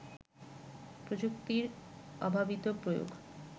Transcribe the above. প্রযুক্তির অভাবিত প্রয়োগ